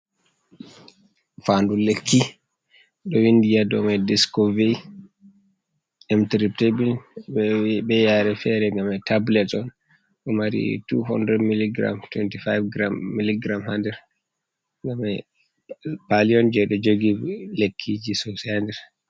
Fandu lekki ɗo windi ha dou mai diskovei imteraptable be yare fere ngam nder man tablet on, ɗo mari 2 mg 25g mg ha nder, ngam mai pali on je ɗo jogi lekkiji sosai ha nder.